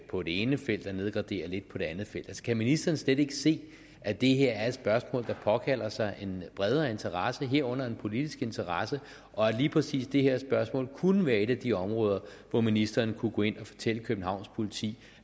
på det ene felt og nedgradere lidt på det andet felt kan ministeren slet ikke se at det her er et spørgsmål der påkalder sig en bredere interesse herunder en politisk interesse og at lige præcis det her spørgsmål kunne være et af de områder hvor ministeren kunne gå ind og fortælle københavns politi